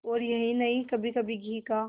और यही नहीं कभीकभी घी का